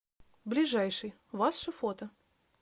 ближайший ваше фото